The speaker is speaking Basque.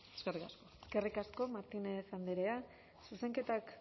eskerrik asko eskerrik asko martinez andrea zuzenketak